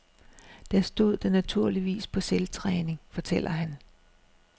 Der stod den naturligvis på selvtræning, fortæller han.